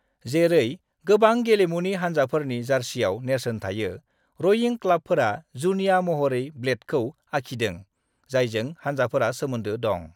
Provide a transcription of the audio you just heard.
जेरै गोबां गेलेमुनि हान्जाफोरनि जर्सियाव नेरसोन थायो, रोईं क्लाबफोरा जुनिया महरै ब्लेडखौ आखिदों जायजों हान्जाफोरा सोमोन्दो दं।